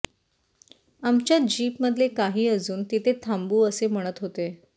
आमच्या जीपमधले काही अजून तिथे थांबू असे म्हणत होते